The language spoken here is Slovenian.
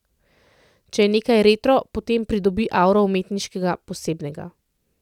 Če je nekaj retro, potem pridobi auro umetniškega, posebnega.